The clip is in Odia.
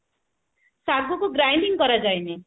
ସାଗୁ କୁ grinding କରା ଯାଏନି